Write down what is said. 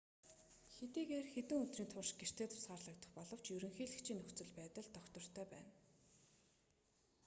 хэдийгээр хэдэн өдрийн турш гэртээ тусгаарлагдах боловч ерөнхийлөгчийн нөхцөл байдал тогтвортой байна